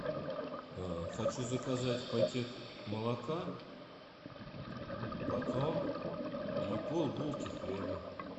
хочу заказать пакет молока батон и полбулки хлеба